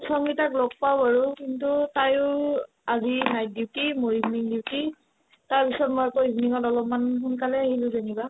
সংগীতাক লগ পাও বাৰু কিন্তু তায়ো আজি night duty মোৰ evening duty তাৰপিছত মই আকৌ evening ত অলপমান সোনকালে আহিলো যেনিবা